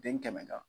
Den kɛmɛ na